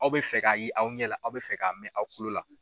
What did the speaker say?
Aw bɛ fɛ k'a ye aw ɲɛ la aw bɛ fɛ k'a mɛn aw kulo la.